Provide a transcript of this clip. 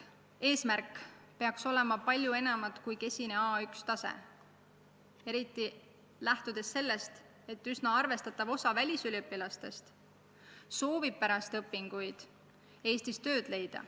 Eesmärk peaks olema palju enamat kui kesine A1 tase, eriti kui silmas pidada, et üsna arvestatav osa välisüliõpilastest soovib pärast õpinguid Eestis tööd leida.